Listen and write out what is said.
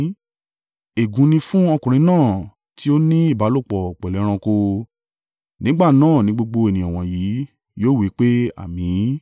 “Ègún ni fún ọkùnrin náà tí ó ní ìbálòpọ̀ pẹ̀lú ẹranko.” Nígbà náà ni gbogbo ènìyàn wọ̀nyí yóò wí pé, “Àmín!”